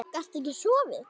Gastu ekki sofið?